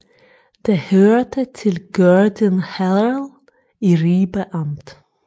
Det hørte til Gørding Herred i Ribe Amt